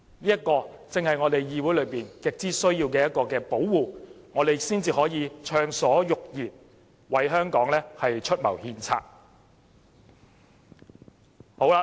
這正是議會很需要的一種保護，讓我們能暢所欲言，為香港出謀獻策。